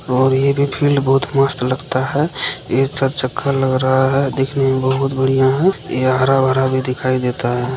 और ये भी फील्ड बहुत मस्त लगता है ये चार चक्का लग रहा है दिखने में बहुत बढिया है यह हरा-भरा भी दिखाई देता है।